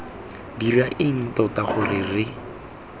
dira eng tota gore re